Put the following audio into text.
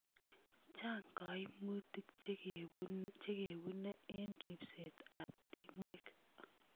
Chang' kaimutik che kepune eng' ripset ap timwek.